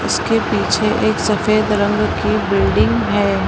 इसके पीछे एक सफेद रंग की बिल्डिंग हैं।